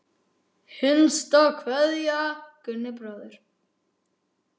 HINSTA KVEÐJA Gunni bróðir.